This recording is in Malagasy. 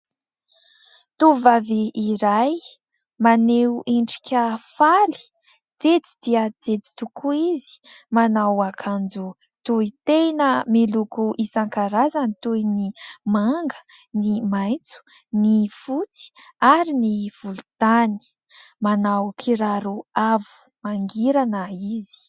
Tovovavy iray maneho endrika faly, jejo dia jejo tokoa izy, manao akanjo tohy tena miloko isan-karazany toy ny manga, ny maitso, ny fotsy ary ny volontany. Manao kiraro avo mangirana izy.